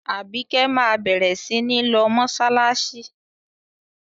Àbíkẹ́ máa bẹ̀rẹ̀ sí ní lọ mọ́ṣáláṣí.